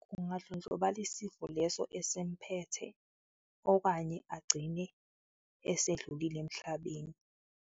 Kungadlondlobala isifo leso esimphethe okanye agcine esedlulile emhlabeni.